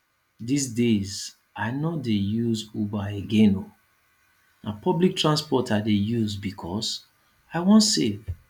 dis days i no dey use uber again oo na public transport i dey use because i wan save